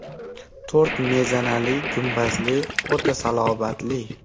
To‘rt mezanali, gumbazli, o‘ta salobatli.